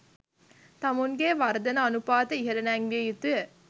තමුන්ගේ වර්ධන අනුපාතය ඉහල නැංවිය යුතුය.